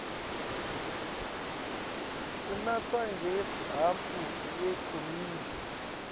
unatsa ngehhafu yenkomishi